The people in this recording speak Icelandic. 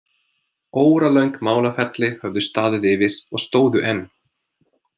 Óralöng málaferli höfðu staðið yfir og stóðu enn.